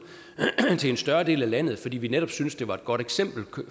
til en større del af landet fordi vi netop syntes det var et godt eksempel